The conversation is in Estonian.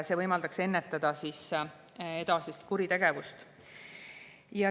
See võimaldab ennetada edasist kuritegevust.